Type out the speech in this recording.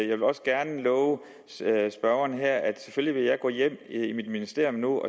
vil også gerne love spørgeren her at selvfølgelig vil gå hjem i mit ministerium nu og